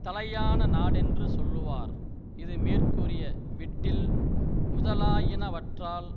தலையான நாடென்று சொல்லுவார் இது மேற்கூறிய விட்டில் முதலாயினவற்றால்